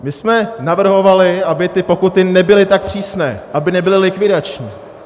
My jsme navrhovali, aby ty pokuty nebyly tak přísné, aby nebyly likvidační.